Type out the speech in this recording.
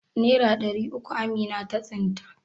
Nera ɗari uku Aminu ya tsinta?